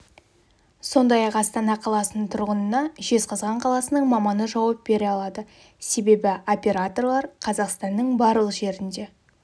сондай-ақ астана қаласының тұрғынына жезқазған қаласының маманы жауап бере алады себебі операторлар қазақстанның барлық жерінде